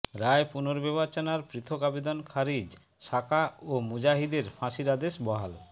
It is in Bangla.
রায় পুনর্বিবেচনার পৃথক আবেদন খারিজ সাকা ও মুজাহিদের ফাঁসির আদেশ বহাল